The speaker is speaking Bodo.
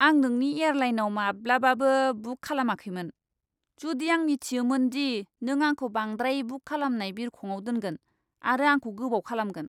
आं नोंनि एयारलाइनआव माब्लाबाबो बुक खालामाखैमोन, जुदि आं मिथियोमोन दि नों आंखौ बांद्राय बुक खालामनाय बिरखंआव दोनगोन आरो आंखौ गोबाव खालामगोन।